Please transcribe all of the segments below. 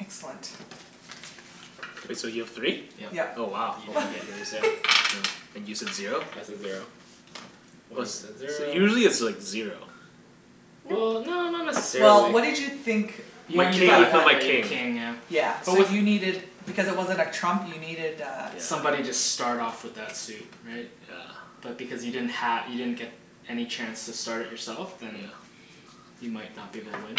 Excellent. K, so you have three? Yep. Yep. Oh wow. You're gonna get yours now. And you said zero? I said zero. Wenny said So zero usually it's like zero. Well, no not Well, necessarily what did you think My king, I that thought one. my king. Yeah. So you needed, because it wasn't a trump you needed uh Somebody just start off with that suit, right? Yeah. But because you didn't ha- you didn't get any chance to start it yourself then you might not be able to win.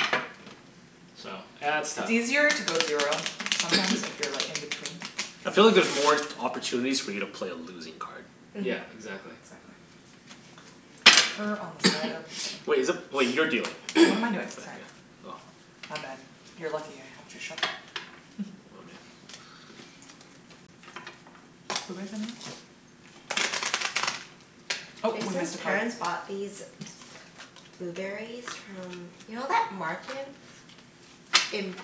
So, yeah it's It's tough. easier to go zero, sometimes if you're like in between. I feel like there's more opportunities for you to play a losing card. Yeah, Mhm. exactly. Exactly. Wait, is it, wait, you're dealing. What am I doing, sorry. Oh My bad. You are lucky I helped you shuffle. Jason's parents bought these blueberries from, you know that market in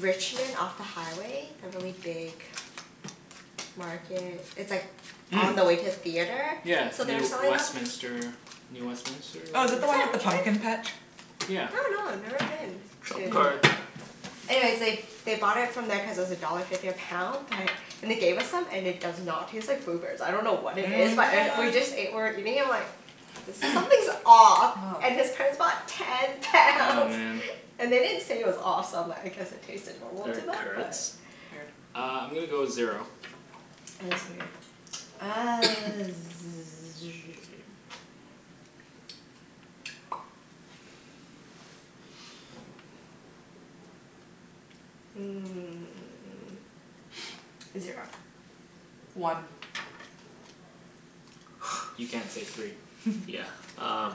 Richmond off the highway, the really big market, it's like on the way to a theatre? Yeah So they were Near selling them Westminister, New Westminister Oh is whatever that the one with the pumpkin patch I Yeah. dunno, I've never been. Trump card. Yeah. Anyways they, they bought it from there cuz it was a dollar fifty a pound but, and they gave us some and it does not taste like blueberries, I dunno what it is But it, What? we What? just ate, we're eating and we're like, there's, something's off. Oh. And his parents bought ten Oh pounds. man And they didn't say it was off so I'm like I guess it tasted normal to They're them? currants? Uh, I'm gonna go zero. Yeah, it was weird. Uh hmm zero. One You can't say three Yeah, um.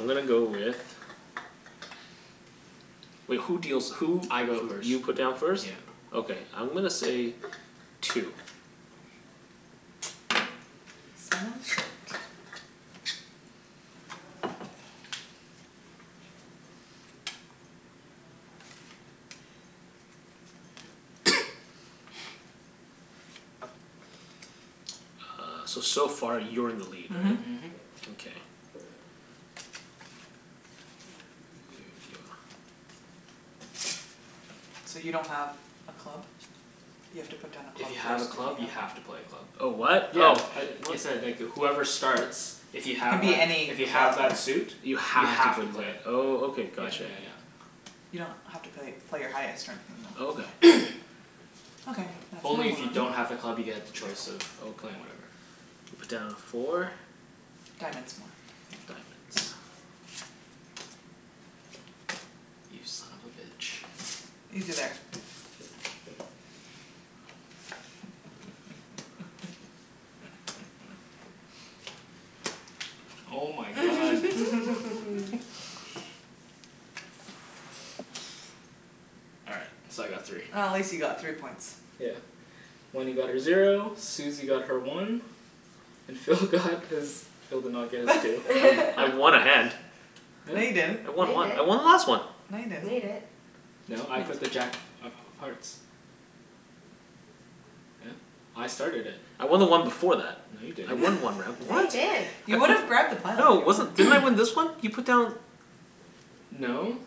I'm gonna go with, wait who deals who I go first. You put down first? Yeah. Okay I'm gonna say two. Uh, so so far you're in the lead, right? Mhm. Mhm. Okay. So you don't have a club? You have to put down a If club you have first. a club you have to play a club. Oh what? Yeah, Oh. I, whoever starts, if you It can have be that, any if you have club. that suit You You have to have to play play it, it. oh Okay, Yeah got you. yeah yeah. You don't have to play, play your highest or anything though. Okay. Only if you don't have a club you get the choice of playing whatever. You put down four. Diamonds more Diamonds You son of a bitch. Easy there. Oh my god. All right, so I got three. Oh at least you got three points. Yeah. Wenny got her zero, Susie got her one, and Phil got his, Phil did not get his two. I w- I won a hand No, you didn't I No, won you one. I didn't won the last one! No, you No, you didn't didn't No, I put the jack of of of hearts. Yeah, I started it. I won the one before that. No, you I didn't. won one round, No, what? you didn't You would've grabbed the No, pile. it wasn't, didn't I win this one? You put down No.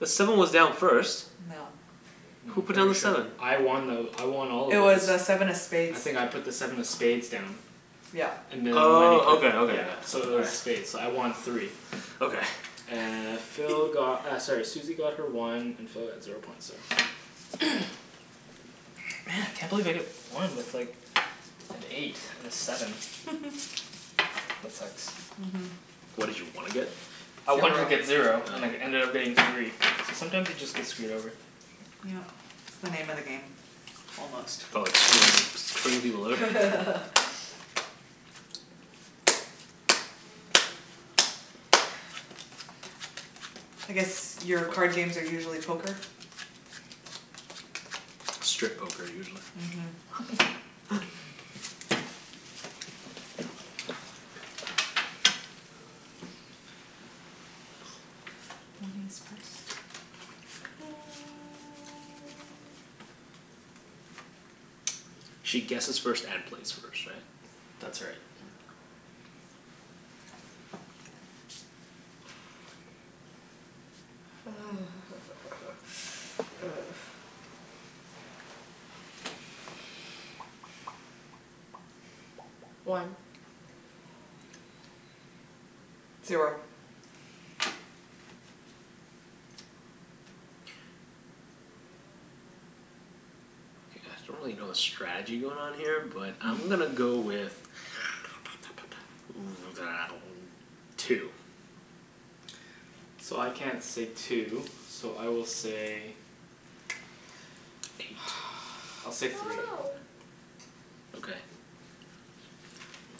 The seven was down first. No. No, Who I'm put down pretty the sure seven? I won though, I won all of It those. was uh seven of spades I think I put the seven of spades down. Yeah. And Wenny Oh put Okay, okay, yeah yeah. So it was spades, so I won three Okay. Uh, Phil got uh sorry Susie got her one, and Phil got zero points there. Man! Can't believe I got one with like an eight and a seven. That sucks. Mhm. What did you wanna get? I wanted to get Zero. zero, and it ended up being three. So sometimes you just get screwed over. Yeah. It's the name of the game, almost. Oh, it's pretty, pretty low. I guess your card games are usually poker? Strip poker, usually. Mhm She guesses first and plays first, right? That's right. One. Zero. K, I acutally don't really know the strategy going on here but I'm gonna go with two. So I can't say two, so I will say, I'll say three. Okay.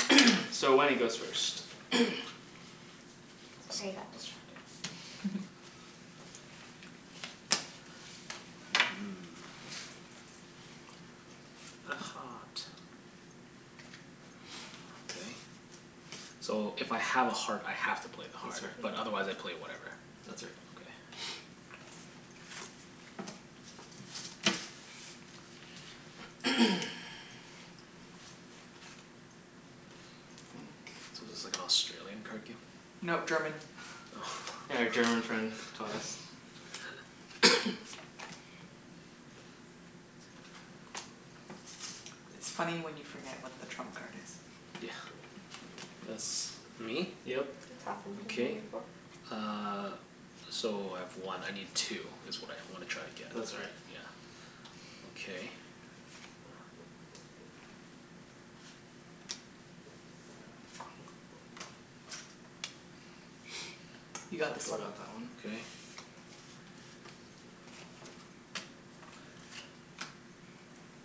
So Wenny goes first Sorry, I got distracted. Okay. So if I have a heart I have to play the That's heart. But right. otherwise I play whatever. That's right. Okay. So this is like Australian card game? No, German. Yeah, our German friend taught us. It's funny when you forget what the trump card is. Yeah. That's me? Yep. Okay uh, so I have one. I need two, it's what I wanna try and get. That's right Yeah, okay. You So got this Phil one. got that one. Okay.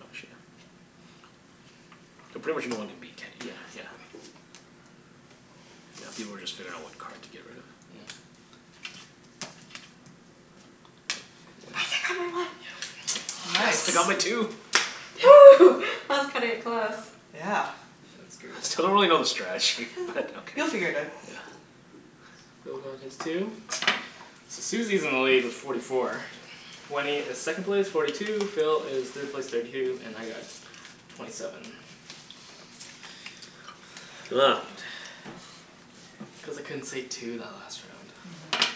Oh shoot. I pretty much know I wanna beat Kenny. Yeah, exactly. Yeah, people were just figuring out what card to get rid of. Yeah. Yes, I got my one Nice. Nice, I got my two! that's cutting it close. Yeah. That's I still don't good. really know the strategy, but okay. You'll figure it out. Yeah. Phil got his two, so Susie is in the lead with forty four, Wenny is second place, forty two, Phil is third place, thirty two, and I got twenty seven. It's cuz I couldn't say two that last round.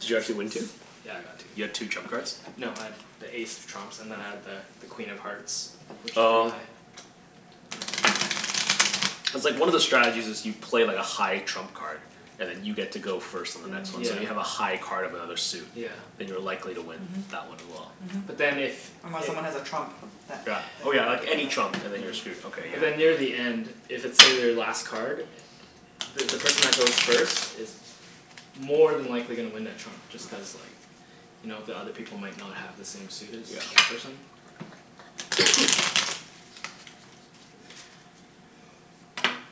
Did you actually win two? Yeah, I got two. You got two trump cards? No, I had the ace of trumps and then I had the the Queen of Hearts which is pretty Oh. high. Cuz like one of the strategies is you play like a high trump card and then you get to go first and Yeah. so you Mhm. have a high card of another suit, Yeah then you're likely to win Mhm. that one as well. Mhm. But then if Unless someone has a trump that Yeah. Oh yeah, like any trump and then you're screwed, okay But yeah. then near the end, if it's say, their last card, the the person that goes first is more than likely gonna win that trump just cuz like you know the other people might not have the same suit as that person.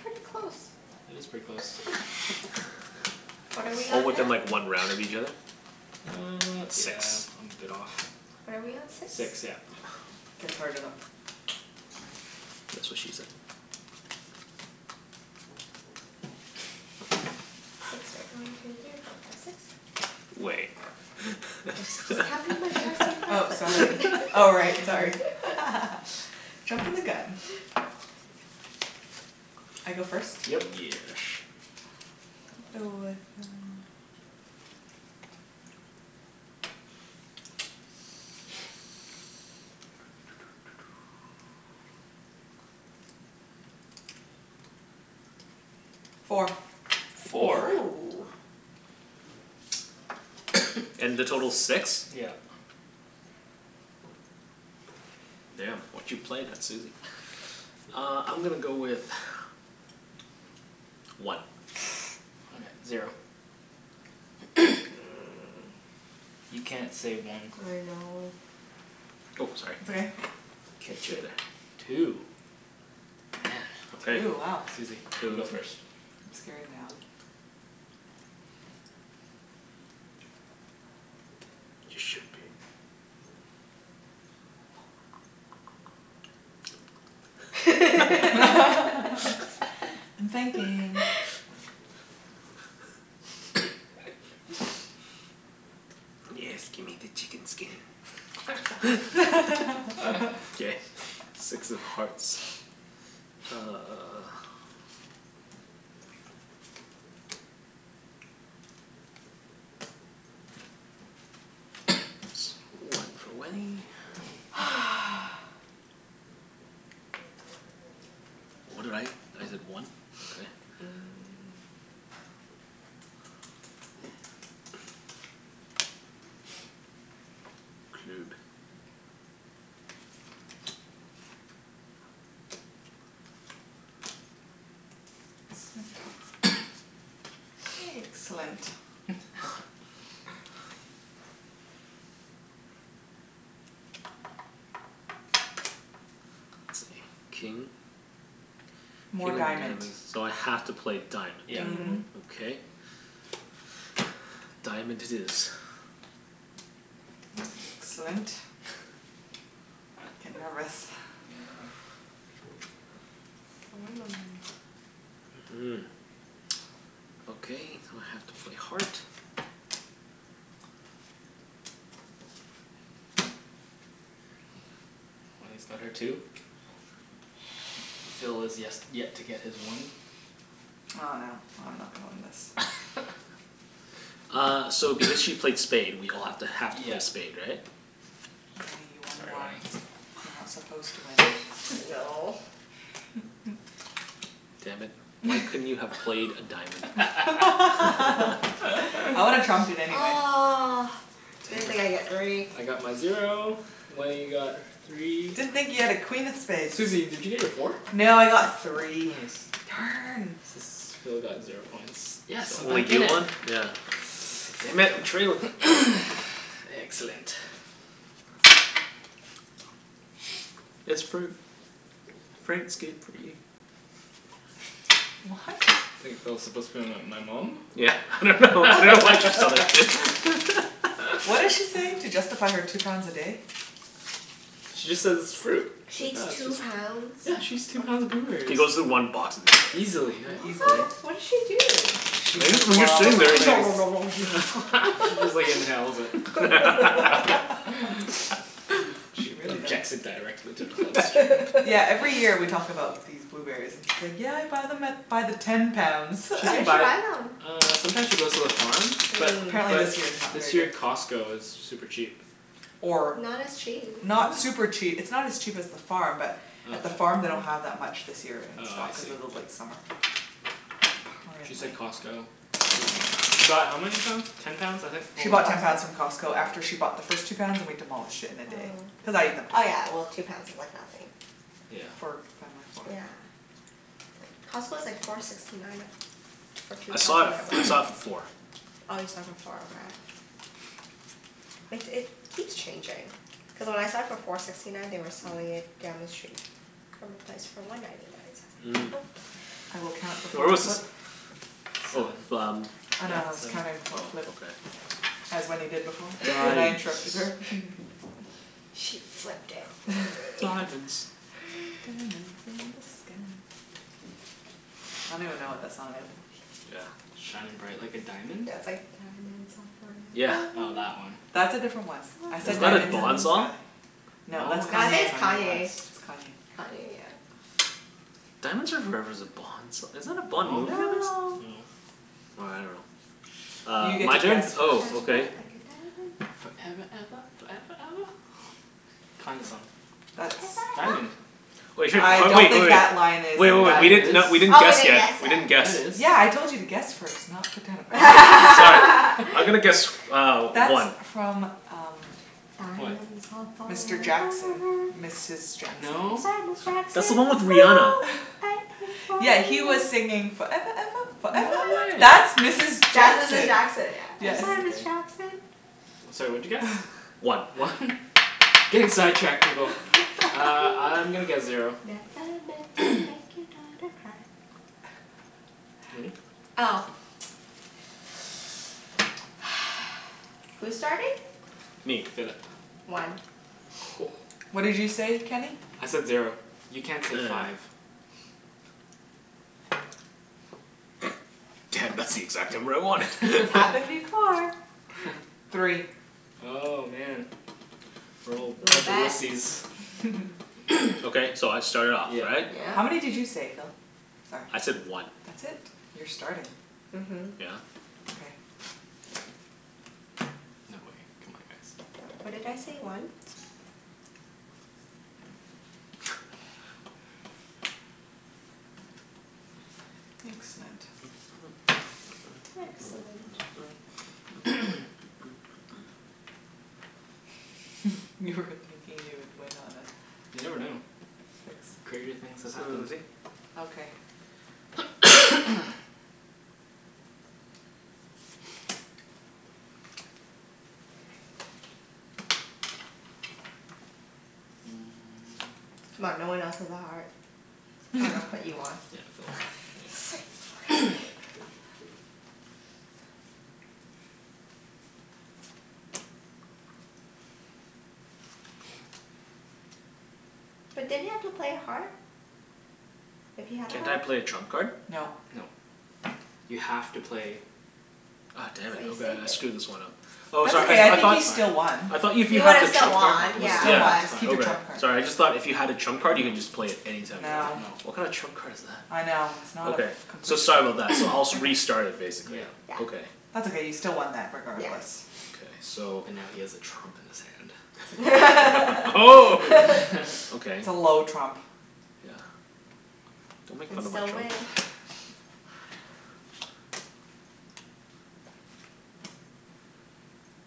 Pretty close. It is pretty close. What are we Oh on now? within like one round of each other? Uh, Six yeah I'm a bit off. What are we on? Six? Six, yeah. That's what she said. Six, right. one two three four five six Wait Oh sorry, oh right, sorry. Jumpin' the gun. I go first? Yep Yesh Four Four?! Woo. And the total's six? Yeah. Damn, what you playin' there, Susie. Uh I'm gonna go with one. All right, zero. You can't say I one know Oh, It's sorry. okay. K two. Two?! Damn Two, wow Susie, you go first I'm scared now. You should be. I'm thinking. Yes, gimme the chicken skin. K, six of hearts. Uh One for Wenny. What did I? I did one, okay Excellent. King? More diamond So I have to play Yep diamond. Mhm. Okay. Diamond it is. Excellent. I'm nervous. Mm. Okay, now I have to play heart. Wenny's got her two. Phil has yes, yet to get his one I dunno, I'm not gonna win this. Uh, so if because she played spade we all have to, have to Yeah play spade, right? Sorry, Wenk. Wenk You're not supposed to win No. Damn it, why couldn't you have played a diamond. I would've trumped it anyway. Ugh, didn't think I'd get three I got my zero, Wenny got three Didn't think you had a queen of spades Susie, did you get your four? No, I got three. Nice. S- Darn! so Phil got zero points. Yes! So I'm only back in you it! won? Yeah. Damn it, I'm trailin'. Excellent. It's fruit. Fruit's good for you. What? I think Phil's supposed to be my- my mom? Yeah, I dunno, I dunno why I just thought of What did she say? To justify her two pounds a day? She just says it's fruit. She eats two pounds? Yeah, she eats two pounds of She blueberries. goes through one box. Easily, yeah. What? What did she do? I guess, when you're sitting there you just nom nom nom nom nom She just like inhales it. She injects it directly into her bloodstream Yeah every year we talk about these blueberries and she's like yeah I bought them at, by the ten pounds. She Where can did she buy, buy them? uh sometimes she goes to the farm But But Mm. apparently but this year is not very this year good. Costco is super cheap. Or Not as cheap Not super Really? cheap, it's not as cheap as the farm but at the farm they don't have that much this year in Oh I stock, see. cuz of the late summer. She said Costco, she she bought how many pounds? Ten pounds I think, oh She bought ten pounds from Costco after she bought the first two pounds and we demolished it in a day. Cuz Oh. I ate them too. Oh yeah well two pounds is like nothing Yeah. Yeah. It's like, Costco's like four sixty nine a- for two I saw pounds it, when I I went. saw it for four. Oh you saw it for four, okay. Like it keeps changing. Cuz when I saw it for four sixty nine they were selling it down the street from a place for one ninety nine. So I was like, Where was this? nope. Oh Seven, f- um. yeah seven As Wenny did before but I Diamonds interrupted her. She flipped it for me. Diamonds Diamonds in the sky I don't even know what that song is Yeah. Shining bright like a diamond? Yeah, it's like, "Diamonds are Yeah forever." Oh, that one That's a different one. I Was said that a "diamonds in the Bond song? sky". No, No, I think it's it's Kanye West. Kanye. It's Kanye Kanye, yeah. Diamonds are forever's a bond song, isn't that a Bond movie? No. No. Well, I dunno Uh, my turn? Oh okay. Foreva eva, foreva eva. Kanye song That's Diamond. Wait, I oh don't wait, think oh that line wait. is Wait wait in wait, that we didn't not, we s- didn't Oh we guess didn't yet. guess We yet didn't guess. Yeah, Yeah, I it is told you to guess first not put down. I'm gonna guess uh That's one. from um Diamonds are Mr forever Jackson, Mrs Jackson I'm No? sorry, That's Ms the one with Jackson. Rihanna. Yeah, he was singing "foreva eva foreva No eva." That's way! Mrs That's Mrs Jackson Jackson yeah. I'm sorry, Ms Jackson. Sorry, what'd you guess? One. One? Getting sidetracked, people. Uh, I'm gonna guess zero. Wenny? Oh. Who's starting? Me. Philip. One. Whoa. What did you say, Kenny? I said zero. You can't say five. Damn, that's the exact number I wanted. It's happened before. Three Oh, man. Okay, so I start it off, Yeah. right? Yeah. How many did you say, Phil? I said one. That's it? You're starting. Mhm. Yeah. No way. C'mon guys What did I say, one? Excellent. Excellent. You were thinking you would win on a- You never know. Crazier things have happened. C'mon, no one else has a heart. I dunno, but you won. Sweet! Okay But didn't you have to play a heart? If you had a Can't I heart? play a trump card? No. No. You have to play Oh damn But it, you okay, saved I it screwed this one up. Oh That's sorry, okay I I I think thought you still won I thought if you He have would've the still trump card won, yeah Yeah, Yeah. it's Keep your Okay, trump fine card sorry, I just thought if you had a trump card you can just play it anytime you want. No What kind of No trump card is that? I know, it's not a Okay, f- so complete sorry trump- about that. So I'll s- restart it basically. Yeah. That's okay you still won that Yes. regardless. Okay so But now he has a trump in That's his hand okay Oh. Okay. It's a low trump Yeah, don't You make can fun of my still trump. win.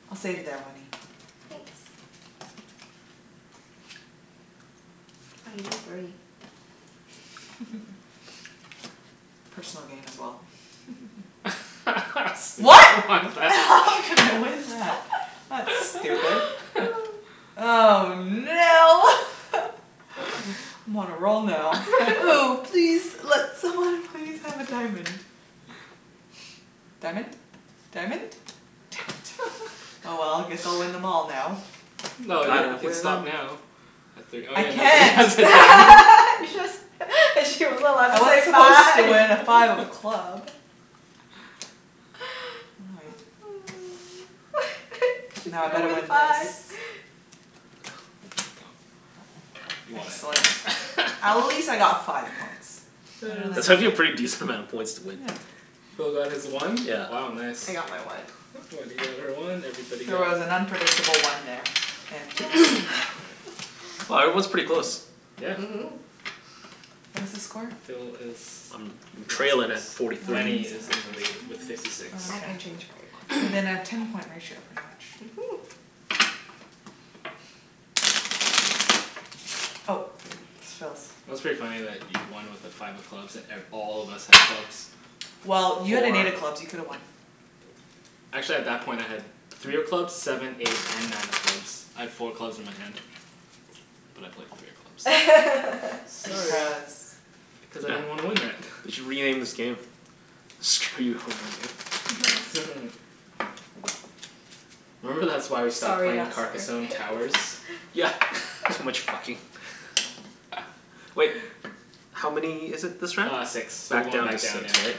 I'll save you there Wenny. Thanks. Oh, you need three. Personal gain as well. What?! what is that? That's stupid. Oh no! I'm on a roll now. Oh please, let someone please have a diamond. Diamond? Diamond? Damn it, oh well, guess I'll win them all now. No, you you can stop now, at three Oh I yeah, nobody has can't. a diamond You just, she wasn't allowed to I say was supposed five to win at five of club. She's Now I gonna better win win this. five Yep, you won Excellent. At least I it. got five points That's actually a pretty decent amount of points to win. Phil got his one Yeah. Wow nice. I got my one. Wenny got her one, everybody She got was an unpredictable one there. Wow, everyone's pretty close. Yeah. Mhm. What is the score? Phil is I'm trailin' at forty three. Wenny is in the lead with fifty six. Within a ten point ratio Mhm. Oh, Phil's. It was pretty funny that you won with a five of clubs at and all of us had clubs, Well, you had four a clubs. You could've won. Actually at that point I had three of clubs, seven, eight and nine of clubs. I had four clubs in my hand, but I played three of clubs Sorry Cuz I didn't want to win that They should rename this game. Screw you over game. Remember that's why we stopped playing Carcassonne Towers? Yeah, too much fucking. Wait, how many is it this round? Uh six, so we're Back going down to back down six, yeah. right?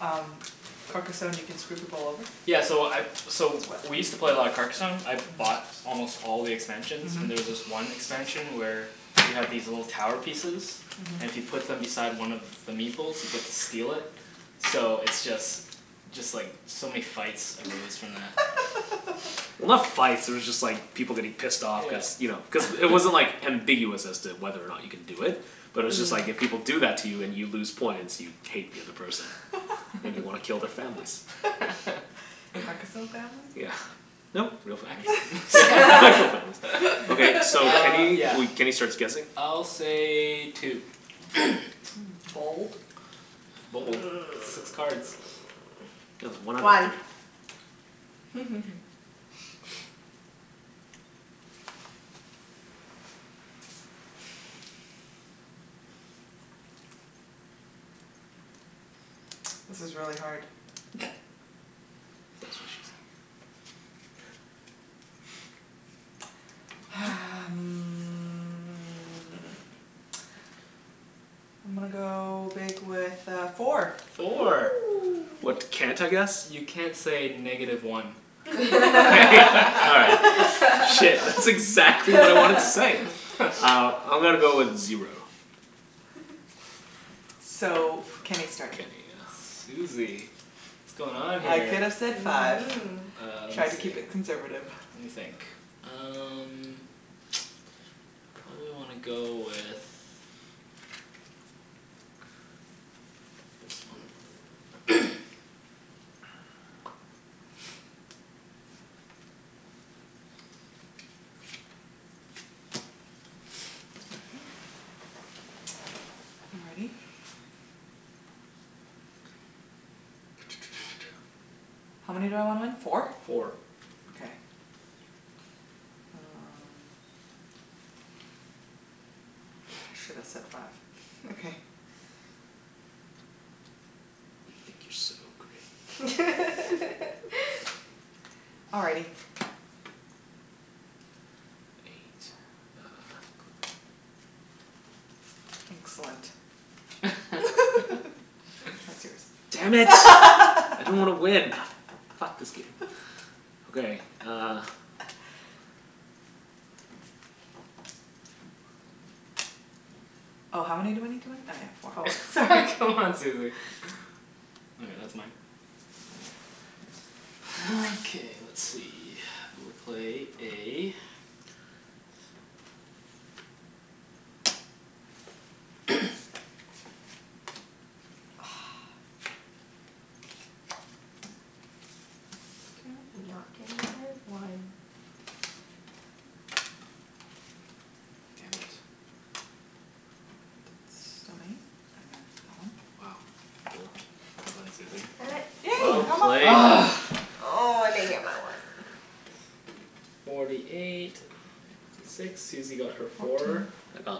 Um, Carcassonne can screw people over? Yeah so I so we used to play a lot of Carcasonne, I bought almost all the expansions, and there's this one expansion where you have these little tower pieces, and if you put them beside one of the Meeple's you get to steal it. So it's just, just like so many fights arose from that. Well, not fights, they were just like people getting pissed off. Cuz you know, cuz Yeah it wasn't like ambiguous as to whether or not you can do it, but it's just like if people do that to you and you lose points, you'd hate the other person. And you wanna kill their families. Carcasonne families? Yeah. No, real families Okay, so Uh Kenny, yeah we Kenny starts guessing I'll say two. Six cards. One This is really hard. That's what she said. Hum, I'm gonna go big with uh four. Four Woo. What can't I guess? You can't say negative one. All right, shit, that's exactly what I wanted to say! Uh, I'm gonna go with zero. So Kenny start, k Susie, what's going on I here could've said five Mm. Uh lemme Try to keep see it conservative. Lemme think, um probably wanna go with this one. Alrighty. How many do I want? Four? Four. Okay. Um, should've said five You think you're so great. Alrighty. Excellent Damn it. I didn't wanna win. Ah, f- fuck this game. Okay, uh Oh how many do I need to win? Oh yeah four, sorry C'mon, Susie. All right, that's mine. Okay let's see, I will play a Did not get my one. Damn it. Wow, well done Susie. Damn it. Yay! Well played. Ugh! Oh, I didn't get my one. Forty eight, fifty six, Susie got her four. I got,